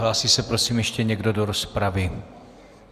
Hlásí se prosím ještě někdo do rozpravy?